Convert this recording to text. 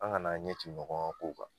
An kana ɲɛ ci ɲɔgɔn kan kow kan